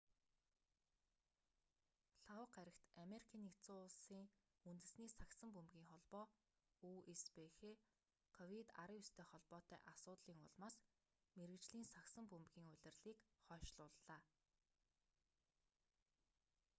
лхагва гарагт америкийн нэгдсэн улсын үндэсний сагсан бөмбөгийн холбоо үсбх ковид-19-тэй холбоотой асуудлын улмаас мэргэжлийн сагсан бөмбөгийн улирлыг хойшлууллаа